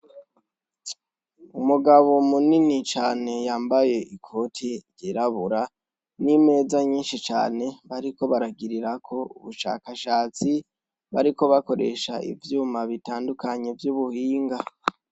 Umugabo munini cane yambaye ikoti yerabura n'imeza nyinshi cane bariko baragirira ko ubushakashatsi bariko bakoresha ivyuma bitandukanye vy'ubuhinga.